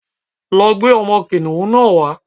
Lọ gbé ọmọ kìnìhún náà wá.